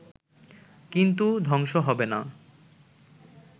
কিন্তু ধ্বংস হবে না